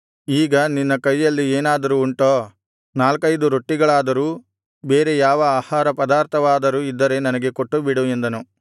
ಈಗ ನಿನ್ನ ಕೈಯಲ್ಲಿ ಏನಾದರೂ ಉಂಟೋ ನಾಲ್ಕೈದು ರೊಟ್ಟಿಗಳಾದರೂ ಬೇರೆ ಯಾವ ಆಹಾರಪದಾರ್ಥವಾದರೂ ಇದ್ದರೆ ನನಗೆ ಕೊಟ್ಟುಬಿಡು ಎಂದನು